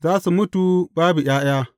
Za su mutu babu ’ya’ya.